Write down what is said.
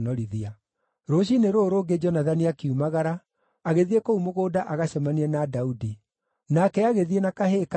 Rũciinĩ rũrũ rũngĩ Jonathani akiumagara, agĩthiĩ kũu mũgũnda agacemanie na Daudi. Nake agĩthiĩ na kahĩĩ kanini;